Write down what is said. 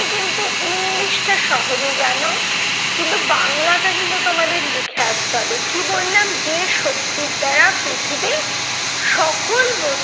কিন্তু english টা সহজে জানো কিন্তু বাংলাটা কিন্তু তোমাদের লিখে আসতে হবে। কি বললাম যে শক্তির দ্বারা পৃথিবী সকল বস্তুকে